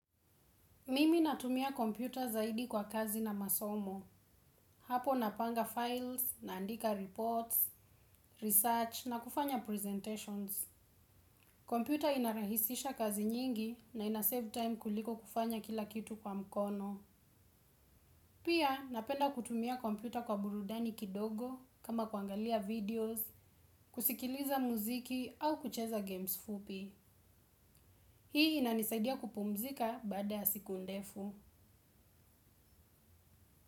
Mimi natumia kompyuta zaidi kwa kazi na masomo. Hapo napanga files, naandika reports, research na kufanya presentations. Kompyuta inarahisisha kazi nyingi na ina save time kuliko kufanya kila kitu kwa mkono. Pia napenda kutumia kompyuta kwa burudani kidogo kama kuangalia videos kusikiliza muziki au kucheza games fupi hii inanisaidia kuoumzika baada ya siku ndefu.